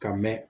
Ka mɛn